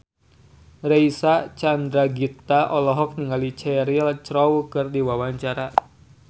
Reysa Chandragitta olohok ningali Cheryl Crow keur diwawancara